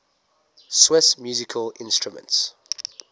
swiss musical instruments